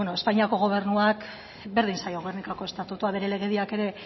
beno espainiako gobernuak berdin zaio gernikako estatutua bere legediak ere